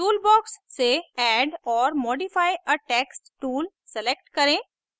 toolbox से add or modify a text tool select करें